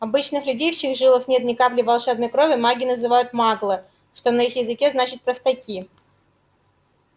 обычных людей в чьих жилах нет ни капли волшебной крови маги называют маглы что на их языке значит простаки